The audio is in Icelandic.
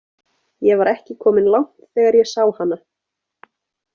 Ég var ekki kominn langt þegar ég sá hana.